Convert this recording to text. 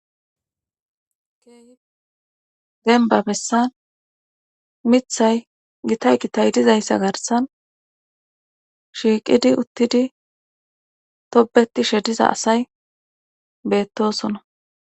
Key denba bessan mithay gitay gitay dizayssa garsan shiiqidi uttidi tobeti shediza asay beettosona.